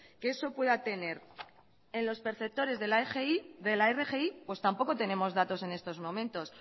que eso pueda tener en los perceptores de la rgi pues tampoco tenemos datos en estos momentos